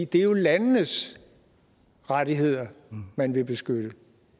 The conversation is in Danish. det er jo landenes rettigheder man vil beskytte